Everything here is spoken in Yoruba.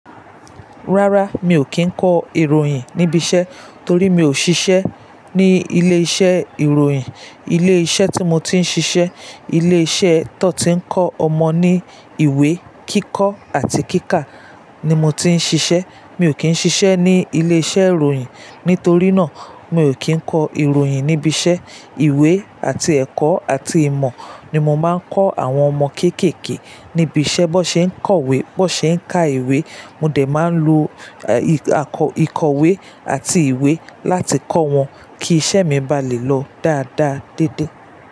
Rárá, mi ò kí ń kọ ìròyìn níbi iṣẹ́ torí mi ò ṣiṣẹ́ ní ilé iṣẹ́ ìròyìn. Ilé iṣẹ́ tí mo ti ń ṣiṣẹ́, ilé iṣẹ́ tó ti ń kọ́ ọmọ ní ìwé kíkọ́ àti kíkà ni mo ti ń ṣiṣẹ́. Mi ò kí ń ṣiṣẹ́ ní ilé iṣẹ́ ìròyìn. Nítorí náà, mi ò kí ń kọ ìròyìn níbi iṣẹ́. Ìwé àti ẹ̀kọ́ àti ìmọ̀ ni mo máa ń kọ́ àwọn ọmọ kéékèèké níbi iṣẹ́, bó ṣe ń kọ̀wé, bó ṣe ń ka ìwé. Mo de máa ń lo ìkọ̀wé àti ìwé láti kọ́ wọn kí iṣẹ́ mi bá lè lọ dáadáa dédé.